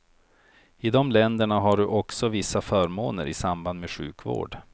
I de länderna har du också vissa förmåner i samband med sjukvård.